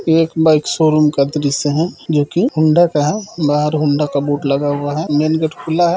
एक bike showroom का दृश्य है जोकि होंडा का है बाहर होंडा का बोर्ड लगा हुआ है मेन गेट खुला है।